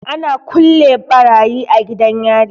Ana kulle barayi a gidan yari.